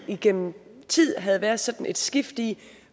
igennem tid havde været sådan et skift i